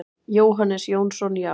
Jóhannes Jónsson: Já.